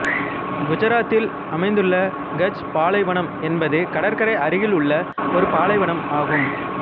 குசராத்தில் அமைந்துள்ள கட்ச் பாலைவனம் என்பது கடற்கரை அருகிலுள்ள ஒரு பாலைவனம் ஆகும்